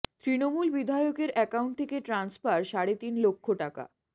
তৃণমূল বিধায়কের অ্যাকাউন্ট থেকে ট্রান্সফার সাড়ে তিন লক্ষ টাকা